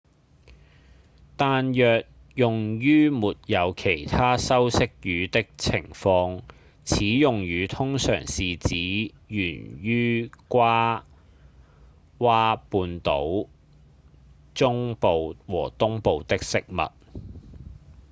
但若用於沒有其他修飾語的情況此用語通常是指源於爪哇本島中部和東部的食物